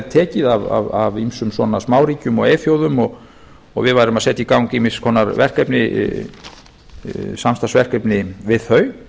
tekið af ýmsum smáríkjum og eyþjóðum og við værum að setja í gang ýmiss konar samstarfsverkefni við þau